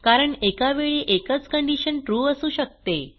कारण एकावेळी एकच कंडिशन ट्रू असू शकते